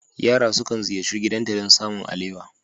Yara sukan ziyarci gidanta don samun alewa.